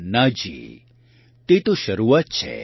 ના જી તે તો શરૂઆત છે